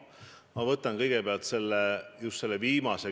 Ma võtan kõigepealt ette just selle viimase.